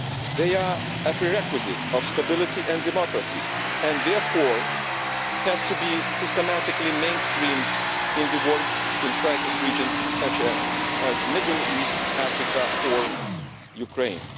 They are a prerequisite for stability and democracy and therefore have to be systematically mainstreamed into the work in crisis regions such as the Middle East, Africa or Ukraine.